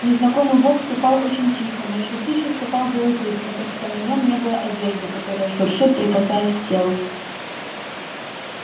незнакомый бог ступал очень тихо но ещё тише ступал белый клык потому что на нём не было одежды которая шуршит прикасаясь к телу